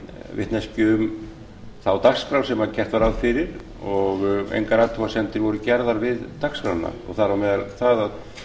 vitneskju um þá dagskrá sem gert var ráð fyrir og engar athugasemdir voru gerðar við dagskrána og þar á meðal það að